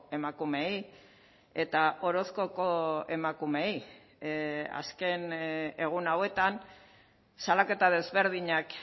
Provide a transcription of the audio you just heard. emakumeei eta orozkoko emakumeei azken egun hauetan salaketa desberdinak